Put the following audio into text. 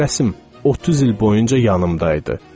Bu rəsm 30 il boyunca yanımda idi.